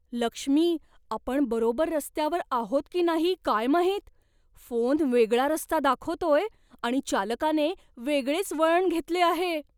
लक्ष्मी, आपण बरोबर रस्त्यावर आहोत की नाही काय माहित. फोन वेगळा रस्ता दाखवतोय आणि चालकाने वेगळेच वळण घेतले आहे.